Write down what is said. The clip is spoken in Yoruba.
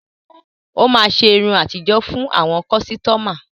Ó máa ṣe irun àtijó fún àwọn kọ́sítọ́mà.